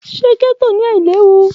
Ṣe getto ailewu?